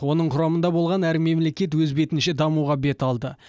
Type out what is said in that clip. оның құрамында болған әр мемлекет өз бетінше дамуға бет алды